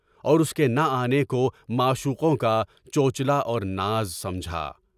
اور اس کے نہ آنے کو معشوقوں کا چوچلا اور ناز سمجھا۔